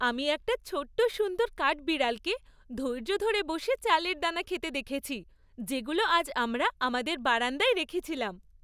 আমি একটা ছোট্ট সুন্দর কাঠবিড়ালকে ধৈর্য ধরে বসে চালের দানা খেতে দেখেছি যেগুলো আজ আমরা আমাদের বারান্দায় রেখেছিলাম।